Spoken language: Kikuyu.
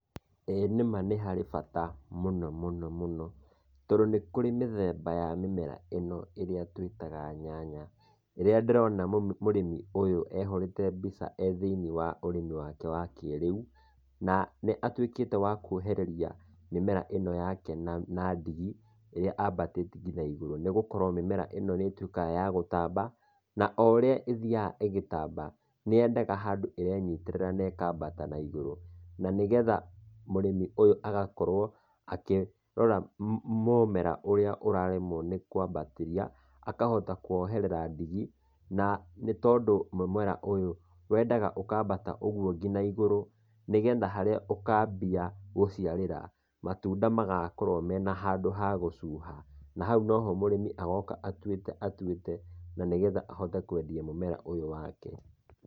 Ĩĩ nĩma nĩ harĩ bata mũno mũno mũno, tondũ nĩ kũrĩ mĩthemba ya mĩmera ĩno ĩrĩa twĩtaga nyanya, ĩrĩa ndĩrona mũrĩmi ũyũ ehũrĩte mbica e thĩiniĩ wa ũrĩmi wake wa kĩrĩu, na nĩatuĩkĩte wa kuohereria mĩmera ĩno yake na na ndigi, ĩrĩa ambatĩtie kinya igũrũ, nĩgũorwo mĩmera ĩno nĩtuĩkaga ya gũtamba, na o ũrĩa ĩthiaga ĩgĩtamba, nĩyendaga handũ ĩrenyitĩrĩra na ĩkambata naigũrũ. Na nĩgetha mũrĩmi ũyũ agakorwo, akĩrora mũmera ũrĩa ũraremwo nĩkũambatĩria, akahota kũwoherera ndigi, na nĩtondũ mũmera ũyũ wendaga ũkambata ũguo kinya igũrũ, nĩgetha harĩa ũkambia gũciarĩra, matunda magakorwo me na handũ ha gũcuha. Na hau noho mũrĩmi agoka atuĩte atuĩte, na nĩgetha ahote kwendia mũmera ũyũ wake.